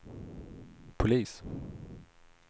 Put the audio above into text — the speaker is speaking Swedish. polis